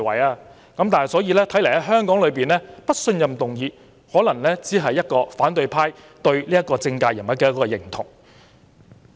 所以，在香港議會對某政界人物提出"不信任"議案，可能只是反對派對此人的認同。